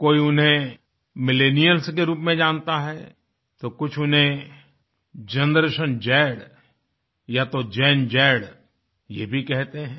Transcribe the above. कोई उन्हें मिलेनियल्स के रूप में जानता हैतो कुछ उन्हें जनरेशन ज़ या तो गेन ज़ ये भी कहते हैं